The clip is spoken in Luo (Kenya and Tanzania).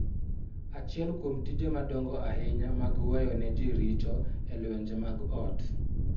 Achiel kuom tije madongo ahinya mag weyo ne ji richo e lwenje mag ot .